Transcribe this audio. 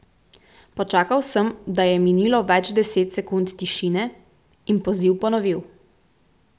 Počakal sem, da je minilo več deset sekund tišine, in poziv ponovil.